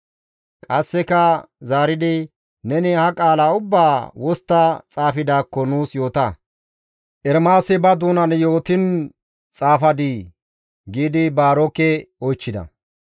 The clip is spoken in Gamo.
Qasseka zaaridi, «Neni ha qaala ubbaa wostta xaafidaakko nuus yoota; Ermaasi ba doonan yootiin xaafadii?» giidi Baaroke oychchida.